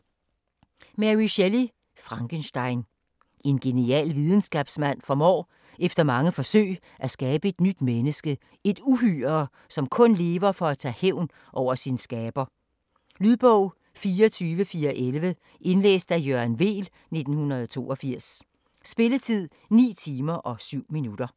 Shelley, Mary: Frankenstein En genial videnskabsmand formår efter mange forsøg at skabe et nyt menneske - et uhyre, som kun lever for at tage hævn over sin skaber. Lydbog 24411 Indlæst af Jørgen Weel, 1982. Spilletid: 9 timer, 7 minutter.